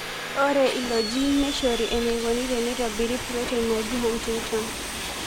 Ore ilo gene neishoru eneikoni teneitobiri protein naji huntingtin.